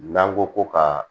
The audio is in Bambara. N'an ko ko ka